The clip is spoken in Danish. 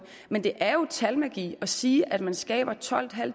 men det er jo talmagi at sige at man skaber tolvtusinde og